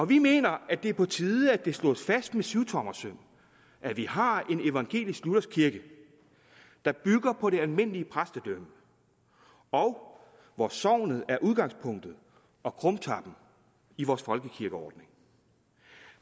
vi mener det er på tide at det slås fast med syvtommersøm at vi har en evangelisk luthersk kirke der bygger på det almindelige præstedømme og hvor sognet er udgangspunktet og krumtappen i vores folkekirkeordning